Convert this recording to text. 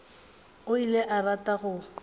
o ile a rata go